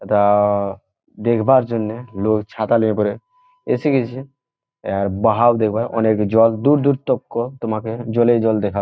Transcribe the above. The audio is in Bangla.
এআ-আ দেখবার জন্যে লোক ছাতা নিয়ে পরে এসে গিয়াছে। আর বাহার দেখবা। অনেক জগ দূর দূর তক কো তোমাকে জলই জল দেখা--